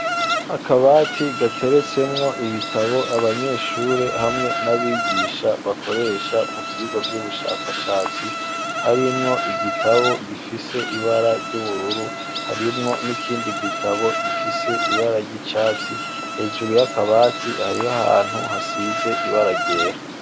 Akabati gateretsemwo ibitabo abanyeshuri hamwe n'abigisha bakoresha mu vyigwa by'ubushakashatsi harimwo igitabo gifise ibara ry'ubururu harimwo n'ikindi gitabo gifise ibara ry'icatsi hejuru ya kabati hariho ahantu hasize ibara ryera.